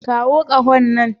Kawo ƙaho nan.